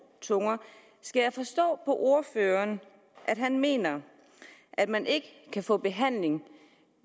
tunger skal jeg forstå ordføreren at han mener at man ikke kan få behandling